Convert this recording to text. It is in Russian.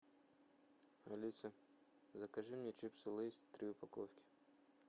алиса закажи мне чипсы лейс три упаковки